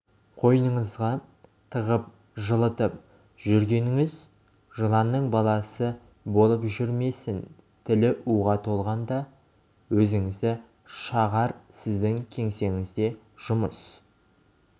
қойныңызға тығып жылытып жүргеніңіз жыланның баласы болып жүрмесін тілі уға толғанда өзіңізді шағар сіздің кеңсеңізде жұмыс